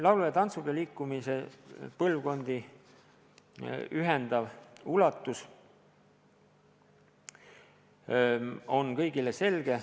Selle traditsiooni põlvkondi ühendav ulatus on kõigile selge.